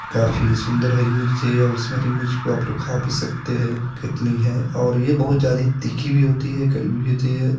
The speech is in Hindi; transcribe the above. काफी सुंदर हरी मिर्ची है उस हरी मिर्च को आपलोग खा भी सकते है कितनी है और ये बहुत ज्यादे तीखी भी होती है कड़वी भी होती है।